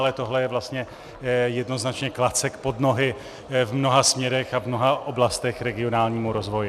Ale tohle je vlastně jednoznačně klacek pod nohy v mnoha směrech a v mnoha oblastech regionálnímu rozvoji.